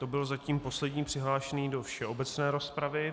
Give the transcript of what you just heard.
To byl zatím poslední přihlášení do všeobecné rozpravy.